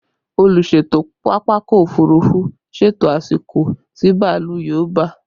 Olùṣètò pápákọ̀ òfurufú ṣètò àsìkò tí bàálù yóò ba